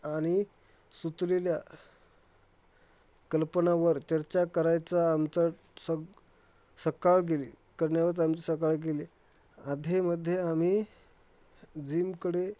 आणि सुचलेल्या कल्पनावर चर्चा करायचा आमचा सग सकाळ गेली करण्यावरचं आमची सकाळ गेली. अध्येमध्ये आम्ही जिम कडे